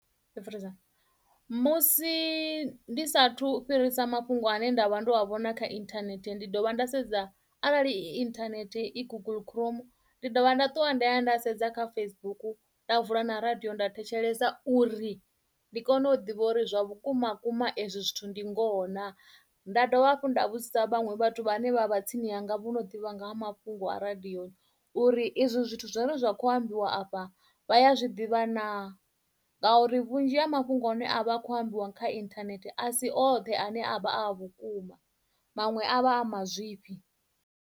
Musi ndi sathu fhirisa mafhungo ane nda vha ndo a vhona kha internet ndi dovha nda sedza arali i internet i kho guguḽu chrome ndi dovha nda ṱuwa nda ya nda sedza kha Facebook nda vula na radio nda thetshelesa uri ndi kone u ḓivha uri zwa vhukuma vhukuma ezwo zwithu ndi ngoho naa nda dovha hafhu nda vhudzisa vhaṅwe vhathu vhane vha vha tsini hanga vho no ḓivha nga ha mafhungo a radio uri izwo zwithu zwine zwa kho a ambiwa afha vhaya zwiḓivha naa ngauri vhunzhi ha mafhungo ane avha akho ambiwa kha internet a si oṱhe ane a vha a vhukuma maṅwe a vha a mazwifhi.